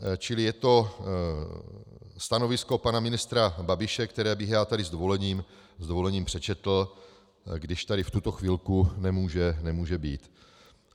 Čili je to stanovisko pana ministra Babiše, které bych já tady s dovolením přečetl, když tady v tuto chvilku nemůže být.